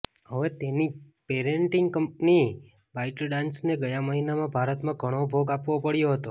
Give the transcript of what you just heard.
હવે તેની parenting company બાઈટડાન્સને ગયા મહિનામાં ભારતમાં ઘણો ભોગ આપવો પડ્યો હતો